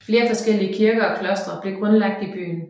Flere forskellige kirker og klostre blev grundlagt i byen